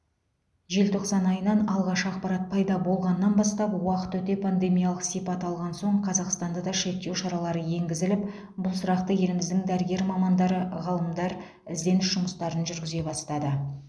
желтоқсан айынан алғаш ақпарат пайда болғаннан бастап уақыт өте пандемиялқ сипат алған соң қазақстанда да шектеу шаралары енгізіліп бұл сұрақты еліміздің дәрігер мамандары ғалымдар ізденіс жұмыстарын жүргізе бастады